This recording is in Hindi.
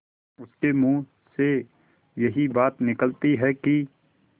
उसके मुँह से यही बात निकलती है कि